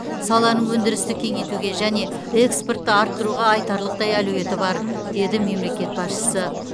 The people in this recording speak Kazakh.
саланың өндірісті кеңейтуге және экспортты арттыруға айтарлықтай әлеуеті бар деді мемлекет басшысы